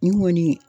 Nin kɔni